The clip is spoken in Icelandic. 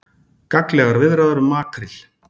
Gagnlegar viðræður um makríl